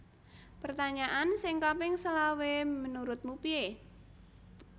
Pertanyaan sing kaping selawe menurutmu pie